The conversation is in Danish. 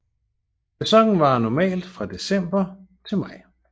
Sæsonen varer normalt fra december til maj